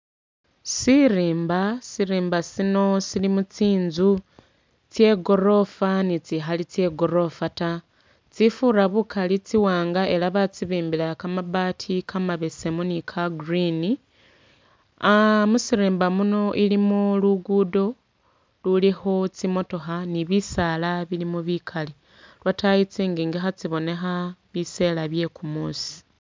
Sirimba, Sirimba sino silimo tsinzu tsye gorofa ni tsi Khali tsye gorofa ta, tsifura bukali tsi'wanga ela batsibimbila kamabaati kamabesemu ni ka green, ah musirimba muno ilimo lugudo lulikho tsimotookha ni bisaala bilimo bikali, lwotayi tsingingi khatsibonekha, bisela bye kumusi